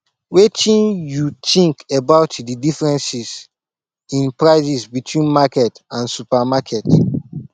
wetin you think about di difference in prices between market and supermarket